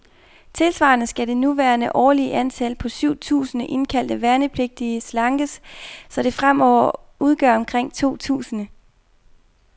Tilsvarende skal det nuværende årlige antal, på syv tusinde indkaldte værnepligtige, slankes, så det fremover udgør omkring to tusinde.